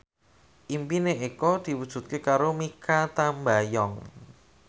impine Eko diwujudke karo Mikha Tambayong